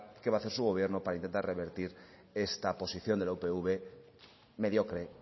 qué va a hacer su gobierno para intentar revertir esta posición de la upv mediocre